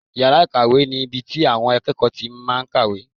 Yàrá ìkàwé ni ibi tí àwọn akẹ́kọ̀ọ́ máa tí n kàwé